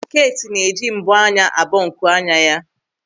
Keeti na-eji mbọ́ anya a bọ nkuanya ya.